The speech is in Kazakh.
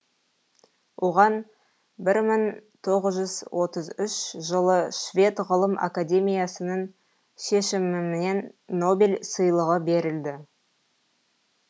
оған бір мың тоғыз жүз отыз үш жылы швед ғылым академиясының шешімімен нобель сыйлығы берілді